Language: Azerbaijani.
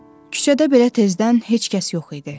Küçədə belə tezdən heç kəs yox idi.